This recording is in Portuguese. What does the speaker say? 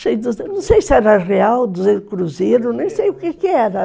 Não sei se era real, duzentos cruzeiros, nem sei o quê que era.